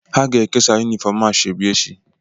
Ha ga ekesa unifoom asoebi echi.